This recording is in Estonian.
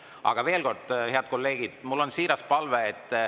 Aga veel kord, head kolleegid, mul on siiras palve.